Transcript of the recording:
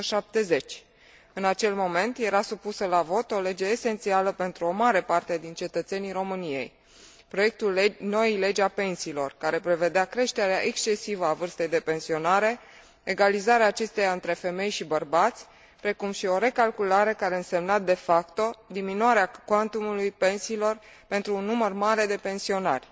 170. În acel moment, era supusă la vot o lege esențială pentru o mare parte din cetățenii României proiectul noii legi a pensiilor, care prevedea creșterea excesivă a vârstei de pensionare, egalizarea acesteia între femei și bărbați, precum și o recalculare care însemna de facto diminuarea cuantumului pensiilor pentru un număr mare de pensionari.